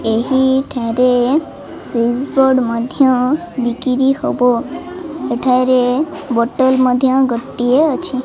ଏହି ଠାରେ switch board ମଧ୍ୟ ବିକ୍ରି ହବ ଏଠାରେ ବୋଟଲ ମଧ୍ୟ ଗୋଟିଏ ଅଛି।